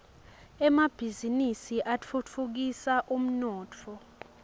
emabhiznnisi atfutfukisa umnotfo